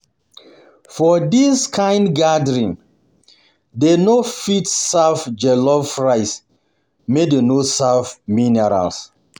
For this kind gathering, dem no fit serve jollof rice make dem no serve mineral.